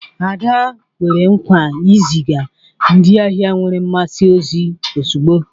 Ada kwere nkwa iziga ndị ahịa nwere mmasị ozi ozugbo